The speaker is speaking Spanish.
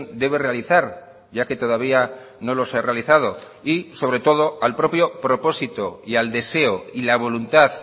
debe realizar ya que todavía no los ha realizado y sobre todo al propio propósito y al deseo y la voluntad